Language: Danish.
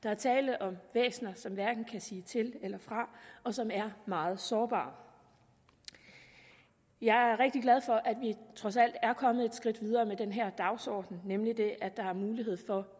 er tale om væsner som hverken kan sige til eller fra og som er meget sårbare jeg er rigtig glad for at vi trods alt er kommet et skridt videre med den her dagsorden nemlig idet der er mulighed for